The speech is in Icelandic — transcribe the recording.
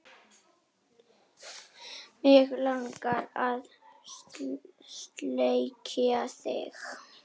Mig langar að sleikja þig.